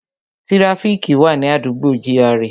Tíráfíkì wà ní àdúgbò gra